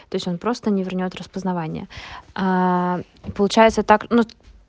то есть он просто не вернёт распознавание получается так ну